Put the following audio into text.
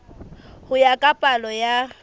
ho ya ka palo ya